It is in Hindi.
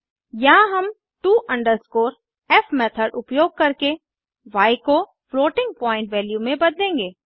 यहाँ हम to f मेथड उपयोग करके य को फ्लोटिंग पॉइन्ट वैल्यू में बदलेंगे